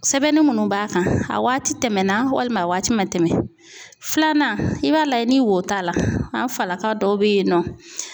Sɛbɛnni minnu b'a kan a waati tɛmɛnna walima a waati man tɛmɛn filanan i b'a lajɛ ni wo t'a la an falaka dɔw bɛ yen nɔ